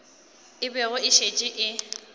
e bego e šetše e